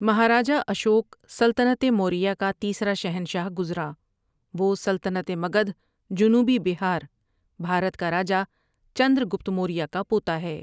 مہاراجہ اشوک سلطنت موریہ کا تیسرا شہنشاہ گزرا وہ سلطنت مگدھ جنوبی بہار، بھارت کا راجا چندر گپت موریا کا پوتا ہے ۔